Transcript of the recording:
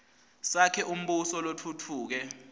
sakhe umbuso lotfutfuke